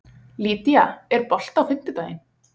Lýdía, er bolti á fimmtudaginn?